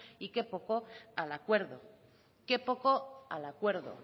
y que poco al acuerdo qué poco al acuerdo